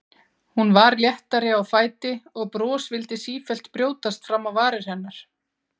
Hún var léttari á fæti og bros vildi sífellt brjótast fram á varir hennar.